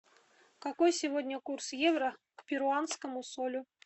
какой сегодня курс евро к перуанскому солю